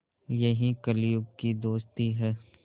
यही कलियुग की दोस्ती है